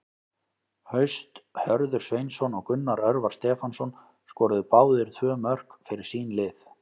Haust Hörður Sveinsson og Gunnar Örvar Stefánsson skoruðu báðir tvö mörk fyrir sín lið.